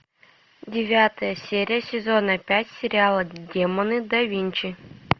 девятая серия сезона пять сериала демоны да винчи